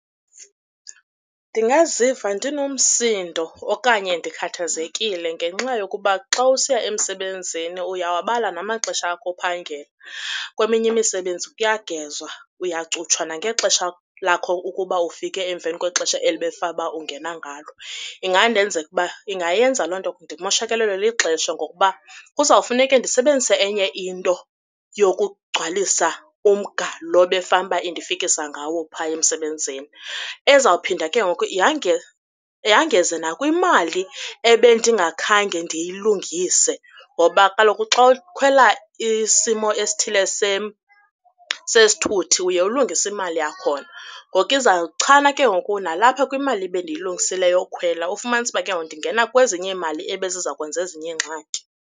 Ndingaziva ndinomsindo okanye ndikhathazekile ngenxa yokuba xa usiya emsebenzini uyawabala namaxesha akho ophangela. Kweminye imisebenzi kuyagezwa, uyacutshwa nangexesha lakho ukuba ufike emveni kwexesha eli bekufane uba ungena ngalo. Ingandenza ukuba, ingayenza loo nto ndimoshakalelwe lixesha ngokuba kuzawufuneka ndisebenzise enye into yokugcwalisa umga lo befanuba indifikisa ngawo phaya emsebenzini. Ezawuphinda ke ngoku yangeze nakwimali ebendingakhange ndiyilungise ngoba kaloku xa ukhwela isimo esithile sesithuthi uye ulungise imali yakhona. Ngoku izawuchana ke ngoku nalapha kwimali ebendiyilungisile yokhwela ufumanise uba kengoku ndingena kwezinye imali ebezizakwanza ezinye iingxaki.